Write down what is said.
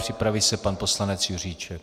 Připraví se pan poslanec Juříček.